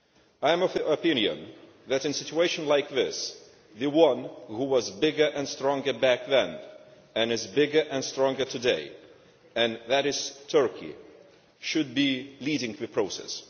I am of the opinion that in a situation like this the one which was bigger and stronger back then, and which is bigger and stronger today that is Turkey should be leading the process.